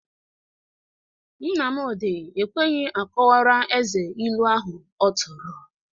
Nnamdị ekweghi akọwara Eze ilu ahụ ọ tụrụ.